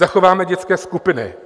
"Zachováme dětské skupiny."